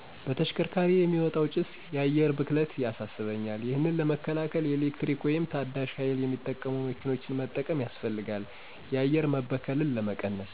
በተሽከርካሪ የሚወጣው ጭሰ የአየር ብክለት ያሳሰበኛል። ይሄን ለመከላከል የኤሌክትሪክ ወይም ታዳሸ ሀይል የሚጠቀሙ መኪኖችን መጠቀም ያሰፈልጋል የአየር መበከልን ለመቀነሰ።